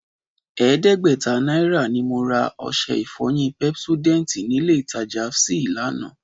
Ẹ̀ẹ́dẹ́gbẹ̀ta náírà ni mo ra ọṣẹ ìfọyín Pepsodent nílé ìtajà fsy lánàá